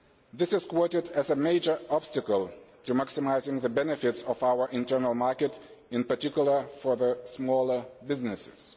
This is quoted as a major obstacle to maximising the benefits of our internal market, in particular for smaller businesses.